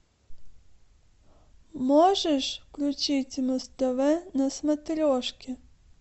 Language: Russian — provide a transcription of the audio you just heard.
можешь включить муз тв на смотрешке